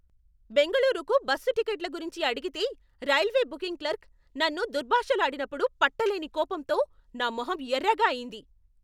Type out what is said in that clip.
బెంగళూరుకు బస్సు టిక్కెట్ల గురించి అడిగితే రైల్వే బుకింగ్ క్లర్క్ నన్ను దుర్భాషలాడినప్పుడు పట్టలేని కోపంతో నా మొహం ఎర్రగా అయింది.